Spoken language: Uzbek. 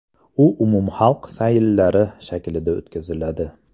U umumxalq sayillari shaklida o‘tkaziladi.